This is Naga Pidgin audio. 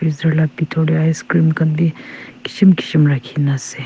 freezer la bitor dey ice cream khan bi kishim kishim rakhi na ase.